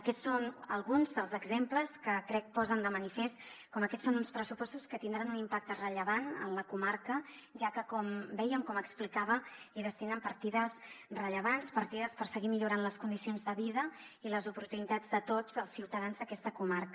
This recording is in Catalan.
aquests són alguns dels exemples que crec posen de manifest com aquests són uns pressupostos que tindran un impacte rellevant en la comarca ja que com dèiem com explicava destinen partides rellevants partides per seguir millorant les condicions de vida i les oportunitats de tots els ciutadans d’aquesta comarca